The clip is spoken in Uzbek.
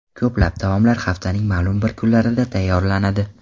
Ko‘plab taomlar haftaning ma’lum bir kunlarida tayyorlanadi.